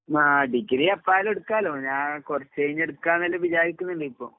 ആഹ്. Degree എപ്പായാലും എടുക്കാല്ലോ? ഞാൻ കൊറച്ചഴിഞ്ഞെടുക്കാന്നെല്ലാം വിചാരിക്ക്ന്ന്ണ്ട് ഇപ്പൊ.